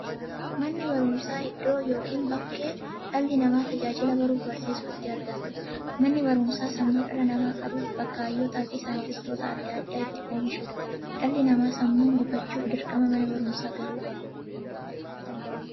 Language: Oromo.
Manni baruumsaa iddoo yookiin bakkee dhalli namaa tajaajila baruufi barsiisuu itti argatuudha. Manni baruumsaa sammuu dhala namaa qaruufi bakka hayyootafi saayintistoota adda addaa itti oomishuudha. Dhalli namaa sammuun gufachuuf, dirqama Mana baruumsaa galuu qaba.